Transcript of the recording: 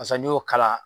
Basa n'i y'o kala